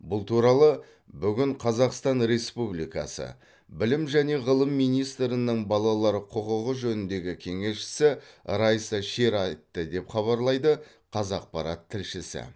бұл туралы бүгін қазақстан республикасы білім және ғылым министрінің балалар құқығы жөніндегі кеңесшісі райса шер айтты деп хабарлайды қазақпарат тілшісі